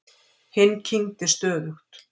Hinn kyngdi stöðugt.